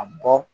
A bɔ